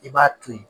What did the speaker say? I b'a to ye